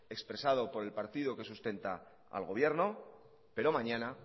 expresado por el partido que sustenta al gobierno pero mañana